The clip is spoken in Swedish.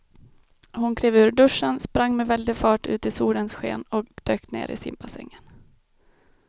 Hon klev ur duschen, sprang med väldig fart ut i solens sken och dök ner i simbassängen.